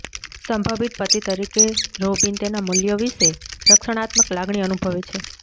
સંભવિત પતિ તરીકે રોબિન તેના મૂલ્ય વિશે રક્ષણાત્મક લાગણી અનુભવે છે